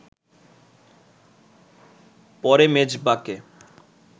পরে মেজবাকে